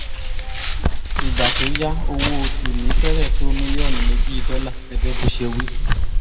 ìgbà tó yá owó-oṣù mi fẹ́rẹ̀ tó mílíọ̀nù méjì dọ́là gẹ́gẹ́ bó ṣe wí